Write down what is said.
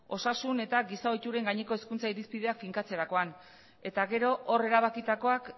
osasun eta giza ohituren gaineko hezkuntza irizpideak finkatzerakoan eta gero hor erabakitakoak